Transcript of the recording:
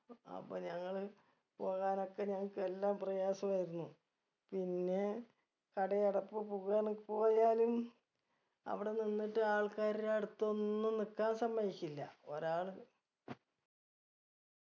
അപ്പൊ ഞങ്ങള് പോകാനൊക്കെ ഞങ്ങക്ക് എല്ലാം പ്രയാസമായിരുന്നു പിന്നെ കടയടപ്പ് പോകാനൊ പോയാലും അവിടെ നിന്നിട്ട് ആൾക്കാരുടെ അടുത്തൊന്നും നിക്കാൻ സമ്മതിക്കില്ല ഒരാള്